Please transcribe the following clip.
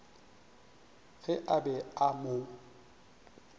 ge a be a mo